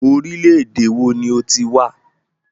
Orílẹ̀-èdè wo ni o ti wá?